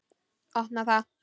Opna það.